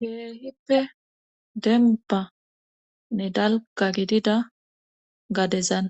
hehippe denbanne dalka gidida gadezan